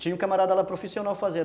Tinha um camarada lá profissional fazendo